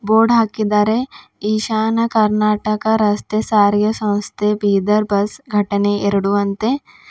Board ಹಾಕಿದ್ದಾರೆ ಈಶಾನ ಕರ್ನಾಟಕ ರಸ್ತೆ ಸಾರಿಗೆ ಸಂಸ್ಥೆ ಬೀದರ್ ಬಸ್ ಘಟನೆ ಎರಡು ಅಂತೆ.